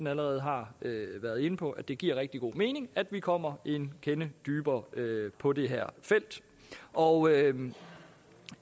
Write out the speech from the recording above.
allerede har været inde på at det giver rigtig god mening at vi kommer en kende dybere ned på det her felt og